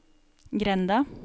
grenda